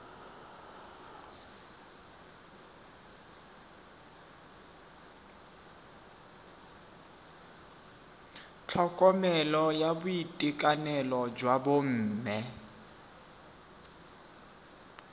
tlhokomelo ya boitekanelo jwa bomme